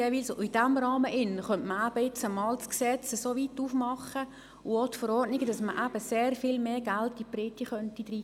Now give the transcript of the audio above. In diesem Rahmen könnte man nun eben das Gesetz und die Verordnungen einmal so weit öffnen, dass man eben sehr viel mehr Geld der Breite zukommen lassen könnte.